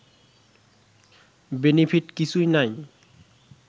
benefit কিছুই নাই